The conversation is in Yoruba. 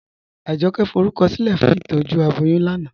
Ajọkẹ̀ fọrúkọsilẹ̀ fún ìtọ́jú abọ́yún lánà